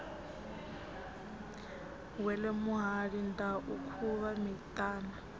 wele muhali ndau khuvha miṱana